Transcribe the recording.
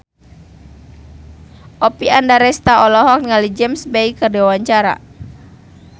Oppie Andaresta olohok ningali James Bay keur diwawancara